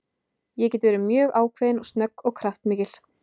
Ég get verið mjög ákveðin, snögg og kraftmikil.